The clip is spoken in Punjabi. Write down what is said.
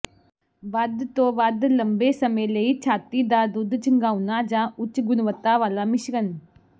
ਵੱਧ ਤੋਂ ਵੱਧ ਲੰਬੇ ਸਮੇਂ ਲਈ ਛਾਤੀ ਦਾ ਦੁੱਧ ਚੁੰਘਾਉਣਾ ਜਾਂ ਉੱਚ ਗੁਣਵੱਤਾ ਵਾਲਾ ਮਿਸ਼ਰਣ